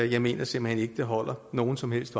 jeg mener simpelt hen ikke det holder nogen som helst